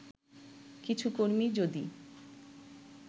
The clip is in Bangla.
কিছু কর্মী যদি